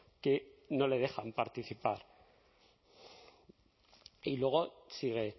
que no le dejan participar y luego sigue